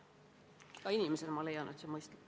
Ka inimesena ma leian, et see on mõistlik.